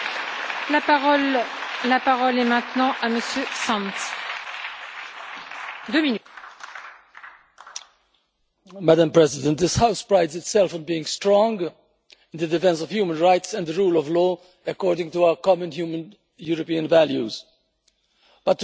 Madam President, this House prides itself on being strong in the defence of human rights and the rule of law according to our common human European values, but to remain strong the action it takes must be based on due process that collects facts as evidence, puts them in context and assesses them as a whole.